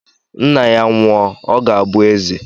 Nna ya nwụọ, ọ ga-abụ eze.